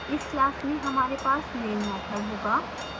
इस class में हमारे पास main मैथड होगा